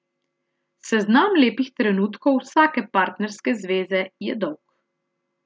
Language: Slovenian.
Seznam lepih trenutkov vsake partnerske zveze je dolg.